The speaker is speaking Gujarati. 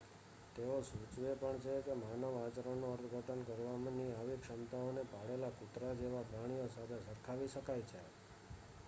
તેઓ સૂચવે પણ છે કે માનવ આચરણનું અર્થઘટન કરવાની આવી ક્ષમતાઓને પાળેલા કૂતરા જેવા પ્રાણીઓ સાથે સરખાવી શકાય છે